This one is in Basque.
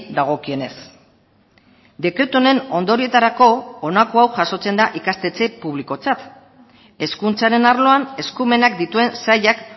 dagokienez dekretu honen ondorioetarako honako hau jasotzen da ikastetxe publikotzat hezkuntzaren arloan eskumenak dituen sailak